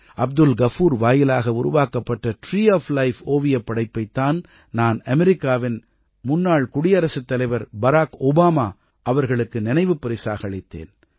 அப்துல் கஃபூர் வாயிலாக உருவாக்கப்பட்ட tree of life ஓவியப் படைப்பைத் தான் நான் அமெரிக்காவின் முன்னாள் குடியரசுத் தலைவர் பராக் ஓபாமா அவர்களுக்கு நினைவுப் பரிசாக அளித்தேன்